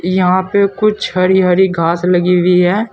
यहां पे कुछ हरी हरी घास लगी हुई है।